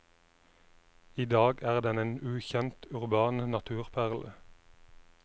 I dag er den en ukjent, urban naturperle.